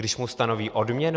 Když mu stanoví odměnu?